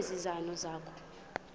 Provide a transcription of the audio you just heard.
ezi zono zakho